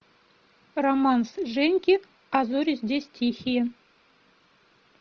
романс женьки а зори здесь тихие